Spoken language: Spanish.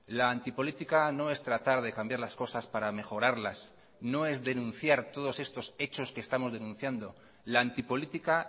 la antipolítica no es tratar de cambiar las cosas para mejorarlas no es denunciar todos estos hechos que estamos denunciando la antipolítica